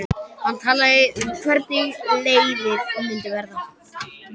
Hann talaði eitthvað um hvernig leiðið myndi verða.